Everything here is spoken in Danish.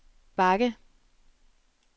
bakke